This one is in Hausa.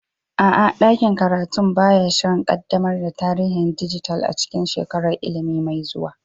A'a, ɗakin karatu ba ya shirin ƙaddamar da tarihin dijital a cikin shekarar ilimi mai zuwa.